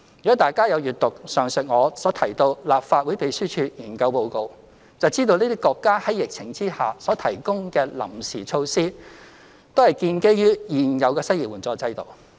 如果大家有閱讀上述我提到的立法會秘書處研究報告，便知道這些國家在疫情下所提供的臨時措施，都是建基於現有的失業援助制度。